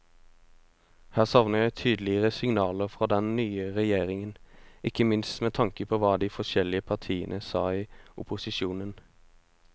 Her savner jeg tydeligere signaler fra den nye regjeringen, ikke minst med tanke på hva de forskjellige partiene sa i opposisjon.